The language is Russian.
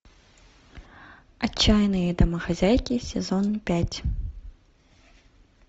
отчаянные домохозяйки сезон пять